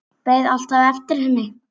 Beið alltaf eftir henni.